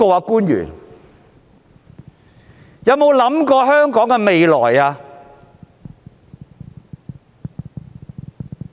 官員們有否為香港的未來想過？